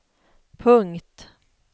punkt